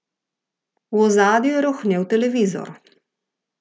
V ozadju je rohnel televizor.